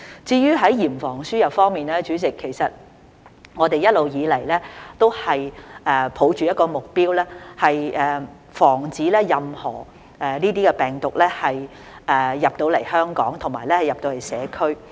至於在嚴防輸入方面，主席，其實我們一直以來都抱着一個目標，就是防止任何病毒進入香港和進入社區。